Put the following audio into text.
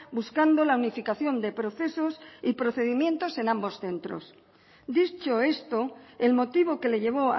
buscando la unificación de procesos y procedimientos en ambos centros dicho esto el motivo que le llevó